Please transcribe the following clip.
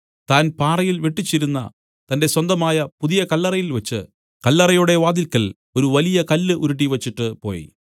താൻ പാറയിൽ വെട്ടിച്ചിരുന്ന തന്റെ സ്വന്തമായ പുതിയ കല്ലറയിൽ വെച്ച് കല്ലറയുടെ വാതിൽക്കൽ ഒരു വലിയ കല്ല് ഉരുട്ടിവച്ചിട്ടുപോയി